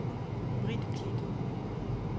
Brit Klit